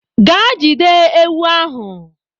Ga jide ewu ahụ.